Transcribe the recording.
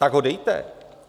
Tak ho dejte!